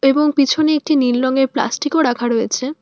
এবং পিছনে একটি নীল রঙের প্লাস্টিকও রাখা রয়েছে।